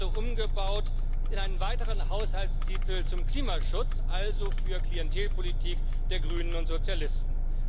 Sie wird gerade umgebaut in einen weiteren Haushaltstitel zum Klimaschutz, also für Klientelpolitik der Grünen und Sozialisten.